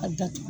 A datugu